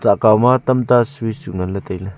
akaoma tamta switch nganley tailey.